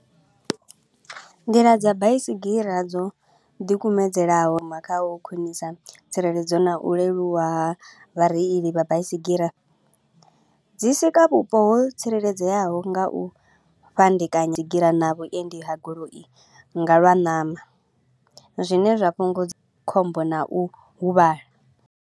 Nḓila dza baisigira dzo ḓikumedzelaho u khwinisa tsireledzo na u leluwa ha vhareili vha baisigira, dzi swika vhupo ho tsireledzeaho nga u fhandekanya na vhuendi ha goloi nga lwa ṋama, zwine zwa fhungudza khombo na u huvhala.